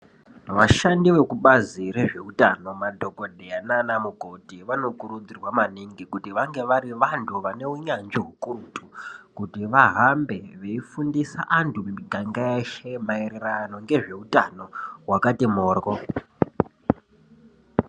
Vashandi vekubazi rezveutano madhokotera nanamukoti vanokuridzirwa maningi kuti vange vari vandu vaneunyanzvi ukurutu kuti vahambe vefundisa vandu muganga weshe maererano ngezveutano wakati mborwo.